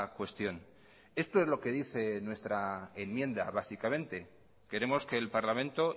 cuestión esto es lo que hice en nuestra enmienda básicamente queremos que el parlamento